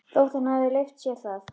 Þótt hann hefði leyft sér það.